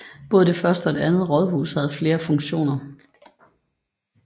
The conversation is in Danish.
Både det første og det andet rådhus havde flere funktioner